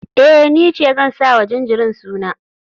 Eh, ni ce zan sa wa jinjirin suna.